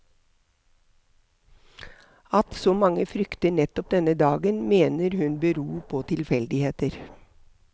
At så mange frykter nettopp denne dagen, mener hun beror på tilfeldigheter.